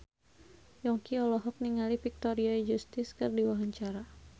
Yongki olohok ningali Victoria Justice keur diwawancara